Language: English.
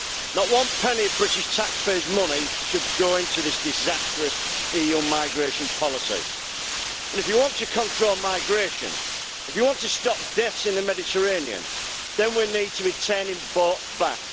Not one penny of British taxpayers' money should go into this disastrous EU migration policy, and if you want to control migration, if you want to stop deaths in the Mediterranean, then we need be turning boats back.